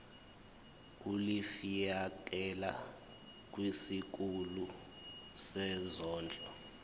ulifiakela kwisikulu sezondlo